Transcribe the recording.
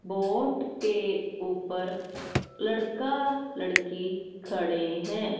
Vote के ऊपर लड़का लड़की खड़े हैं।